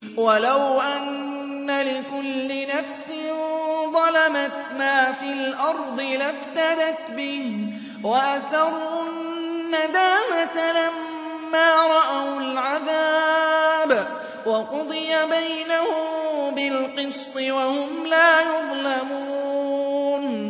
وَلَوْ أَنَّ لِكُلِّ نَفْسٍ ظَلَمَتْ مَا فِي الْأَرْضِ لَافْتَدَتْ بِهِ ۗ وَأَسَرُّوا النَّدَامَةَ لَمَّا رَأَوُا الْعَذَابَ ۖ وَقُضِيَ بَيْنَهُم بِالْقِسْطِ ۚ وَهُمْ لَا يُظْلَمُونَ